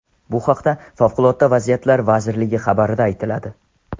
Bu haqda Favqulodda vaziyatlar vazirligi xabarida aytiladi .